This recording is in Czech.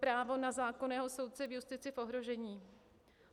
Právo na zákonného soudce v justici v ohrožení?